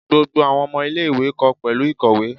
Gbogbo awọn ọmọ ile-iwe kọ pẹlu ikowe.